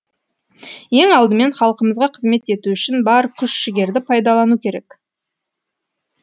ең алдымен халқымызға қызмет ету үшін бар күш жігерді пайдалану керек